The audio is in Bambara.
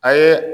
A ye